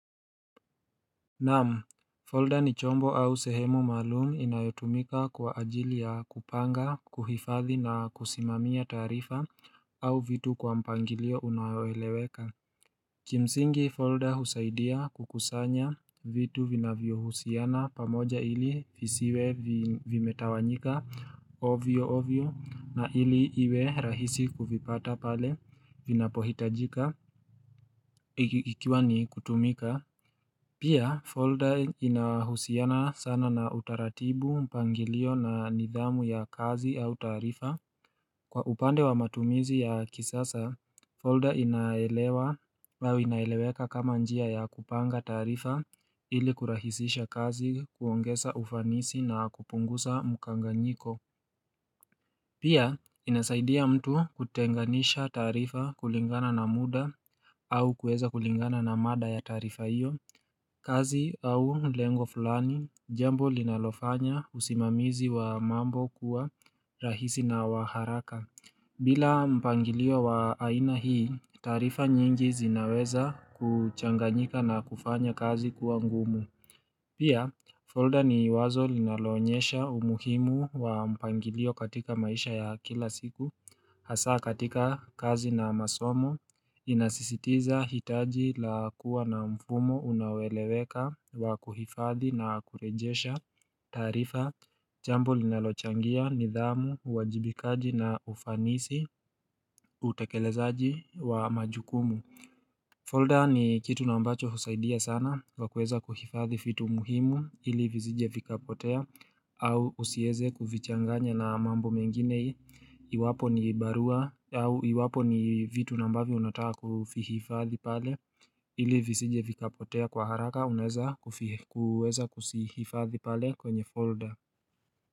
Naam, folder ni chombo au sehemu maalum inayotumika kwa ajili ya kupanga, kuhifadhi na kusimamia taarifa au vitu kwa mpangilio unaoeleweka. Kimsingi folder husaidia kukusanya vitu vina vyohusiana pamoja ili visiwe vimetawanyika ovyo ovyo na ili iwe rahisi kuvipata pale vinapohitajika ikiwa ni kutumika. Pia, folder inahusiana sana na utaratibu, mpangilio na nidhamu ya kazi au taarifa. Kwa upande wa matumizi ya kisasa, folder inaeleweka kama njia ya kupanga taarifa ili kurahisisha kazi kuongeza ufanisi na kupunguza mkanganyiko. Pia, inasaidia mtu kutenganisha taarifa kulingana na muda au kuweza kulingana na maada ya taarifa hiyo, kazi au lengo fulani, jambo linalofanya usimamizi wa mambo kuwa rahisi na waharaka. Bila mpangilio wa aina hii, taarifa nyingi zinaweza kuchanganyika na kufanya kazi kuwa ngumu. Pia folder ni wazo linaloonyesha umuhimu wa mpangilio katika maisha ya kila siku Hasa katika kazi na masomo Inasisitiza hitaji la kuwa na mfumo unaoeleweka wa kuhifadhi na kurejesha taarifa Jambo linalochangia nidhamu uwajibikaji na ufanisi utekelezaji wa majukumu folder ni kitu nambacho husaidia sana kwakuweza kuhifadhi vitu muhimu ili visije vikapotea au usiweze kuvichanganya na mambo mengine iwapo ni barua au iwapo ni vitu na ambavyo unataka kuvihifadhi pale ili visije vikapotea kwa haraka unaweza kuweza kuvihifadhi pale kwenye folder.